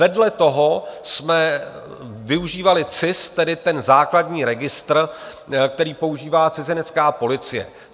Vedle toho jsme využívali CIS, tedy ten základní registr, který používá cizinecká policie.